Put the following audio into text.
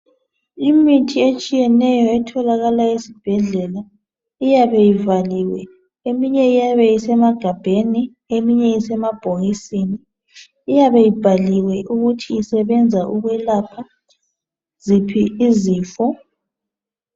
Imithi etshiyeneyo etholakala esibhedlela iyabe ivaliwe eminye iyabe isemagabheni eminye isemabhokisini iyabe ibhaliwe ukuthi isebenza ukwelapha ziphi izifo.